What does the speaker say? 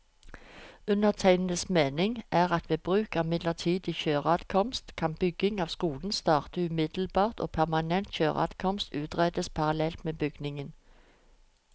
Undertegnedes mening er at ved bruk av midlertidig kjøreadkomst, kan bygging av skolen starte umiddelbart og permanent kjøreadkomst utredes parallelt med byggingen.